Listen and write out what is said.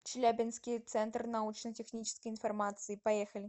челябинский центр научно технической информации поехали